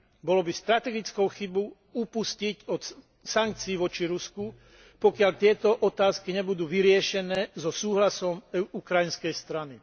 Bolo by strategickou chybou upustiť od sankcií voči Rusku, pokiaľ tieto otázky nebudú vyriešené so súhlasom ukrajinskej strany.